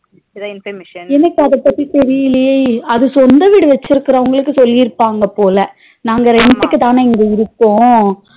எனக்கு அதபத்தி தெரியலையே அது சொந்த வீடு வட்சிருக்குறவங்களுக்கு சொல்லிருபாங்கபோல நாங்க rent க்கு தானா இங்க இருக்கோம்